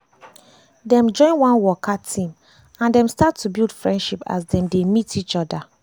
dem join one waka team and dem start to build friendship as dem dey meet each other